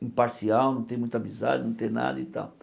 imparcial, não ter muita amizade, não ter nada e tal.